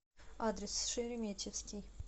адрес шереметьевский